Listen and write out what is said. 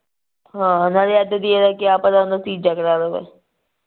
ਹਾਂ ਨਾਲੇ ਅੱਜ ਦੀ ਕਿਆ ਪਤਾ ਕੱਲ ਤੀਜਾ ਕਰਾ ਲਵੇ